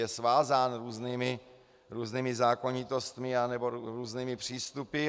Je svázán různými zákonitostmi nebo různými přístupy.